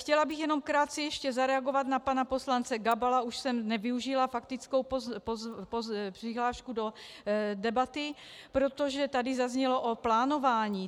Chtěla bych jenom krátce ještě zareagovat na pana poslance Gabala, už jsem nevyužila faktickou přihlášku do debaty, protože tady zaznělo o plánování.